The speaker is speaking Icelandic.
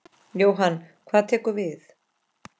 Jóhann: Hvað tekur við?